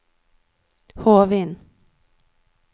Hovin